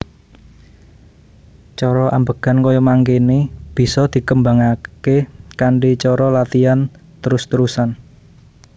Cara ambegan kaya mangkene bisa dikembangake kanthi cara latian trus trusan